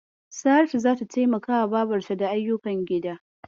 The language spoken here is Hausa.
Saratu zata taimakawa babarta da ayyukan gida.